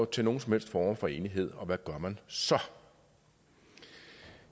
til nogen som helst form for enighed og hvad gør man så